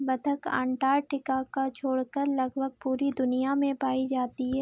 बत्तक अंटार्कटिका का छोड़कर लगभग पूरी दुनिया में पाई जाती है।